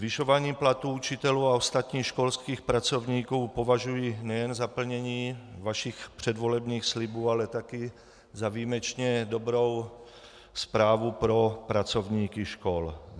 Zvyšování platů učitelů a ostatních školských pracovníků považuji nejen za plnění vašich předvolebních slibů, ale také za výjimečně dobrou zprávu pro pracovníky škol.